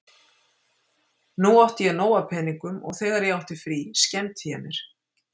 Nú átti ég nóg af peningum og þegar ég átti frí skemmti ég mér.